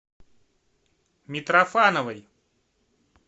митрофановой